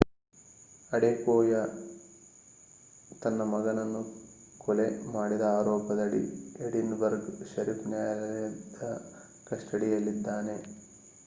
Adekoya ತನ್ನ ಮಗನನ್ನು ಕೊಲೆ ಮಾಡಿದ ಆರೋಪದಡಿ ಎಡಿನ್ಬರ್ಗ್ ಶೆರಿಫ್ ನ್ಯಾಯಾಲಯದ ಕಸ್ಟಡಿಯಲ್ಲಿದ್ದಾನೆ